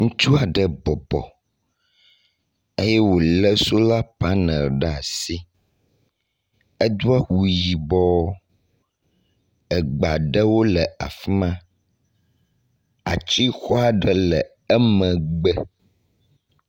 Ŋutsu aɖe bɔbɔ eye wo le sola panel ɖe asi. Edo awu yibɔ egbe aɖewo le afi ma. Atsixɔa ɖe le emegbe.